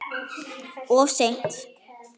Of seint.